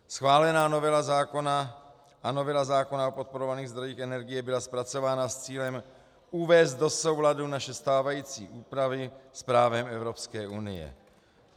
Schválená novela zákona a novela zákona o podporovaných zdrojích energie byla zpracována s cílem uvést do souladu naše stávající úpravy s právem Evropské unie.